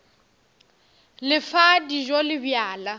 le fa dijo le bjala